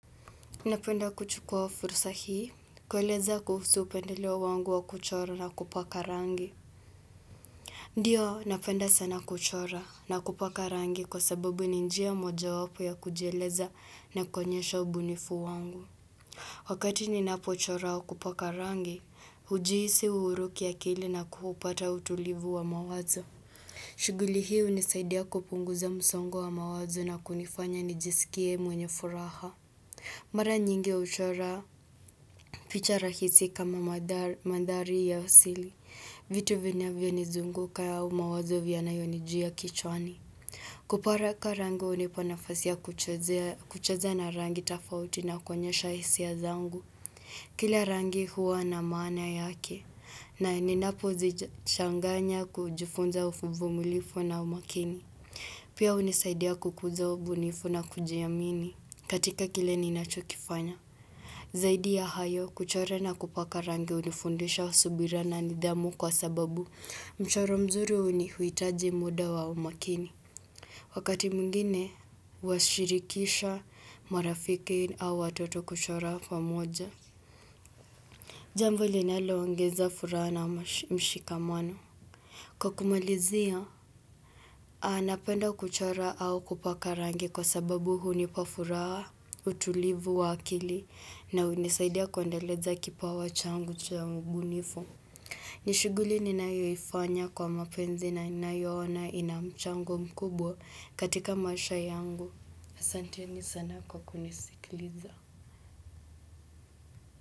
Napenda kuchukua fursa hii, kueleza kuhusu upendeleo wangu wa kuchora na kupaka rangi. Ndiyo, napenda sana kuchora na kupaka rangi kwa sababu ni njia moja wapo ya kujieleza na kuonyesha ubunifu wangu. Wakati ninapo chora wa kupaka rangi, ujihisi uhuru kiakili na kupata utulivu wa mawazo. Shughuli hu lnisaidia kupunguza msongo wa mawazo na kunifanya nijisikie mwenye furaha. Mara nyingi huchora picha rahisi kama mandhari ya asili. Vitu vinavyaniizunguka au mawazo vya yanayonijia kichwani. Kupaka rango hunipa nafasi kucheza na rangi tofauti na kuoelnyesha hisia zangu. Kila rangi huwa na maana yake. Na ninapo zichanganya kujifunza uvumilivu na umakini. Pia hunisaidia kukuza ubunifu na kujiamini katika kile ninachokifanya. Zaidi ya hayo, kuchora na kupaka rangi hunifundisha subira na nidhamu kwa sababu mchoro mzuri uhitaji muda wa umakini. Wakati mwngine, huwashirikisha marafiki au watoto kuchora pamoja. Jambo linalo ongeza furaha na mshikamano. Kwa kumalizia, anapenda kuchora au kupaka rangi kwa sababu hunipa furaha utulivu wa akili na hunisaidia kuendeleza kipawa changu cha ubunifu. Nishighuli ninayoifanya kwa mapenzi na inayoona inamchango mkubwa katika maisha yangu. aSanteni sana kwa kunisikiliza.